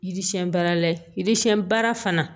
Yiri siɲɛn baara la yiri siyɛn baara fana